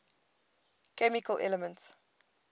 chemical elements